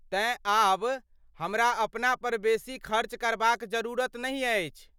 तेँ ,आब हमरा अपना पर बेसी खर्च करबाक जरुरत नहि अछि।